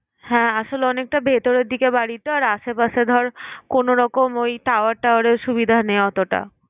হ্যাঁ! আসলে অনেকটা ভেতরের দিকে বাড়ি তো, আশেপাশে ধর কোনরকম ওই tower tower এর সুবিধা নেই অতটা।